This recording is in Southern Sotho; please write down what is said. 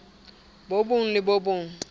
bo bong le bo bong